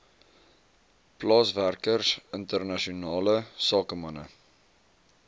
plaaswerkers internasionale sakemanne